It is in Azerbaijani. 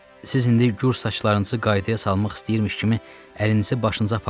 siz indi gür saçlarınızı qaydaya salmaq istəyirmiş kimi əlinizi başınıza apardınız.